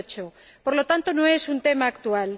2008. Por lo tanto, no es un tema actual.